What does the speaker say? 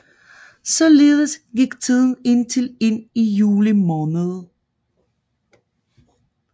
Således gik tiden indtil ind i juli måned